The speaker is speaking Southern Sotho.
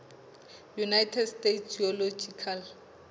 united states geological